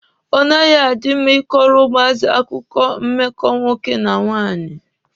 Ọ naghị adị mma ịkọrọ ụmụazị akụkọ mmekọ nwoke na nwanyị.